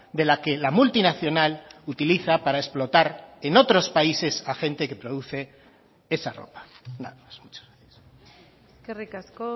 de la que la multinacional utiliza para explotar en otros países a gente que produce esa ropa nada más muchas gracias eskerrik asko